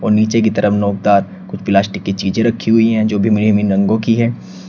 नीचे की तरफ नोकदार कुछ प्लास्टिक की चीजें रखी हुई हैं जो विभिन्न विभिन्न रंगों की है।